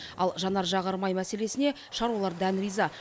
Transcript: ал жанар жағармай мәселесіне шаруалар дән риза